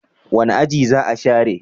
Wani aji za a share?